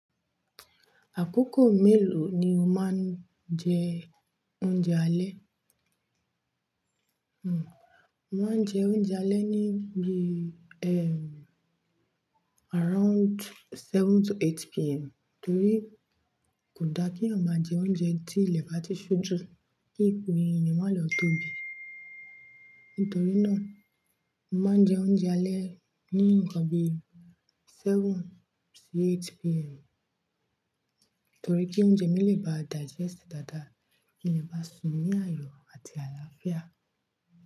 Àkókò mélòó ni o máa ń jẹ oúnjẹ alẹ́? Hmn, mo máa ń jẹ oúnjẹ alẹ́ níbi, ehn, around seven to eight PM. Nítorí kò da kí ọmọ jẹ oúnjẹ tí ilẹ̀ bá ti ṣú jù kí ìkun eyan maá lọ tóbi. Nítorí náà, mo máa ń jẹ oúnjẹ alẹ́ ní ǹkan bi seven sí eight PM. Nítorí kí oúnjẹ mí lè ba digest dáadáa, kí ilẹ̀ bá sùn ní àyò àti àlàáfíà.